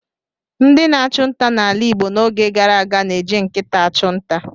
Ndị na-achụ nta n'ala Igbo n'oge gara aga na-eji nkịta achụ nta.